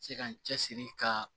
Se ka n cɛsiri ka